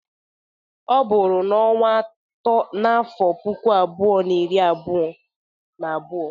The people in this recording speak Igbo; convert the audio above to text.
Ọ bụrụ n'onwa atọ n'afọ puku abụo na iri abụo na abụo.